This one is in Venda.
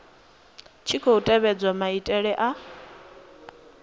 tshi khou tevhedzwa maitele a